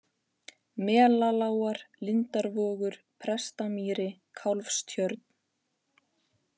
Melalágar, Lindarvogur, Prestamýri, Kálfstjörn